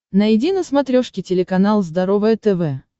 найди на смотрешке телеканал здоровое тв